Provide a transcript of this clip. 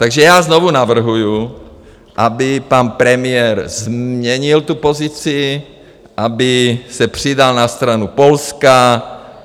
Takže já znovu navrhuju, aby pan premiér změnil tu pozici, aby se přidal na stranu Polska.